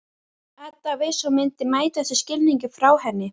Edda vissi að hún myndi mæta þessum skilningi frá henni.